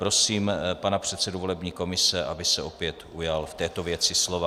Prosím pana předsedu volební komise, aby se opět ujal v této věci slova.